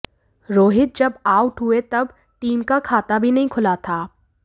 रोहित जब आउट हुए तब टीम का खाता भी नहीं खुला था